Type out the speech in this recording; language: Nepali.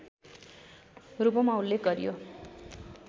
रूपमा उल्लेख गरियो